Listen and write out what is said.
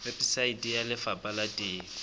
weposaeteng ya lefapha la temo